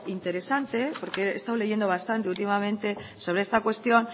interesante porque he estado leyendo bastante últimamente sobre esta cuestión